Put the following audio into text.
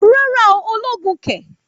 Rárá ooo, ológun kẹ̀!